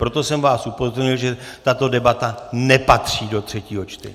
Proto jsem vás upozornil, že tato debata nepatří do třetího čtení!